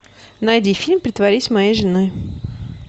найди фильм притворись моей женой